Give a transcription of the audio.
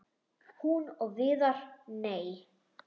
Hún og Viðar- nei!